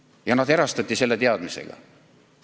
Ja nad erastati selle teadmisega.